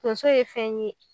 Tonso ye fɛn ye